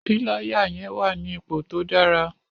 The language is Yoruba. Píláyà yẹn wà ní ipò tó dára.